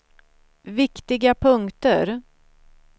viktiga punkter